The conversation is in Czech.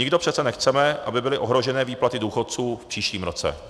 Nikdo přece nechceme, aby byly ohrožené výplaty důchodů v příštím roce.